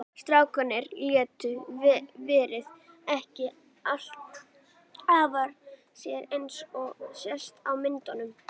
Strákarnir létu veðrið ekki aftra sér eins og sést á myndunum.